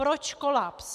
Proč kolaps?